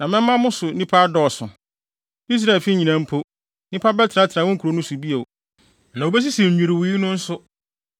na mɛma wo so nnipa adɔɔso, Israelfi nyinaa mpo, nnipa bɛtena wo nkurow no so bio, na wobesisi nnwiriwii no nso.